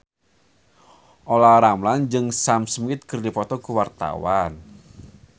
Olla Ramlan jeung Sam Smith keur dipoto ku wartawan